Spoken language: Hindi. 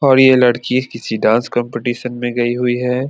और ये लड़की किसी डांस कॉम्पिटिशन में गई हुई है।